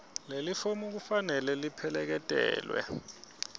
lelifomu kufanele lipheleketelwe